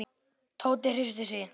Tóti hristi sig.